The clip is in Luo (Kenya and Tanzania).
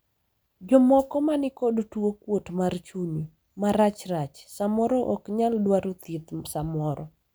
jomoko ma nikod tuo kuot mar chuny marachrach samoro ok nyal dwaro thieth samoro